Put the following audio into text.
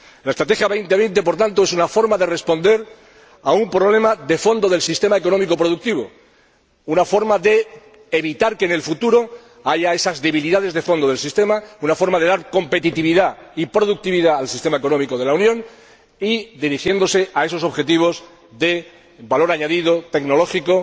Por tanto, la Estrategia Europa 2020 es una forma de responder a un problema de fondo del sistema económico productivo, una forma de evitar que en el futuro haya esas debilidades de fondo del sistema, una forma de dar competitividad y productividad al sistema económico de la Unión y de dirigirse a esos objetivos de valor añadido tecnológico,